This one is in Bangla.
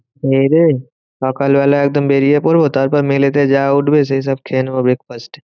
খেয়েদেয়ে, সকালবেলা একদম বেরিয়ে পড়বো। তারপর mail এতে যা উঠবে সেইসব খেয়ে নেবো breakfast.